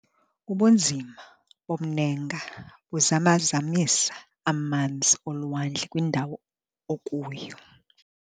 Ubunzima bomnenga buzama-zamisa amanzi olwandle kwindawo okuyo.